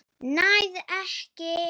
Nær ekki.